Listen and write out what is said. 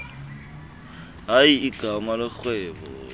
hayi igama lorhwebo